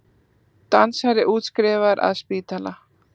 Dansari útskrifaður af spítala